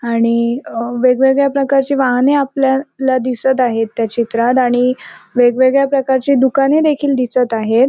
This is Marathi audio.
आणि अ वेगवेगळ्या प्रकारची वाहने आपल्याला दिसत आहेत त्या चित्रात आणि वेगवेगळ्या प्रकारची दुकाने देखील दिसत आहेत.